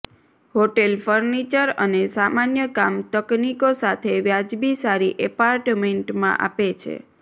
hotel furniture અને સામાન્ય કામ તકનીકો સાથે વ્યાજબી સારી એપાર્ટમેન્ટમાં આપે છે